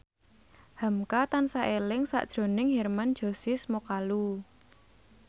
hamka tansah eling sakjroning Hermann Josis Mokalu